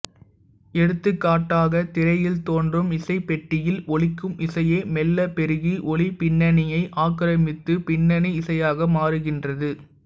எடுத்துக்காட்டாகத் திரையில் தோன்றும் இசைப்பெட்டியில் ஒலிக்கும் இசையே மெல்லப் பெருகி ஒலிப் பின்னணியை ஆக்கிரமித்துப் பின்னணி இசையாக மாறுகின்றது